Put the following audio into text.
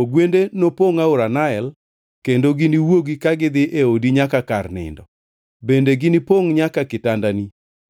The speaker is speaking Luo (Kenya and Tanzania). Ogwende nopongʼ aora Nael kendo giniwuogi ka gidhi e odi nyaka kor nindo. Bende ginipongʼ nyaka kitandani,